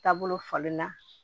Taabolo falen na